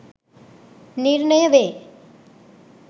නිර්ණය වේ.